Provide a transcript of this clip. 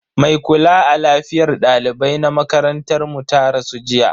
Mai kula a lafiyar dalibai na makarantar mu ta rasu jiya.